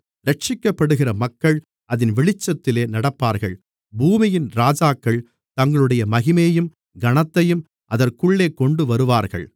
இரட்சிக்கப்படுகிற மக்கள் அதின் வெளிச்சத்திலே நடப்பார்கள் பூமியின் ராஜாக்கள் தங்களுடைய மகிமையையும் கனத்தையும் அதற்குள்ளே கொண்டுவருவார்கள்